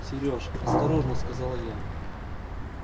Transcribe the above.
серёж осторожно сказала я